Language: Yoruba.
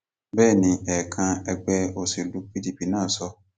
bẹẹ ni ẹẹkan ẹgbẹ òṣèlú pdp náà sọ